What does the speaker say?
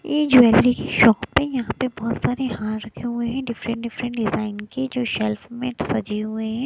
ये ज्वेलरी की शॉप है यहां पे बहोत सारे हार रखे हुए हैं डिफरेंट डिफरेंट डिजाइन की जो सेल्फ में सजे हुए हैं।